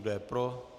Kdo je pro?